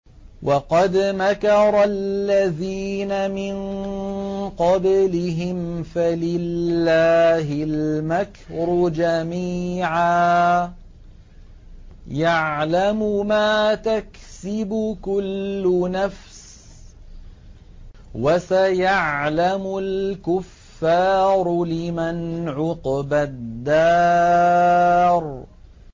وَقَدْ مَكَرَ الَّذِينَ مِن قَبْلِهِمْ فَلِلَّهِ الْمَكْرُ جَمِيعًا ۖ يَعْلَمُ مَا تَكْسِبُ كُلُّ نَفْسٍ ۗ وَسَيَعْلَمُ الْكُفَّارُ لِمَنْ عُقْبَى الدَّارِ